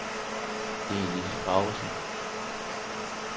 Inge-Lise Graversen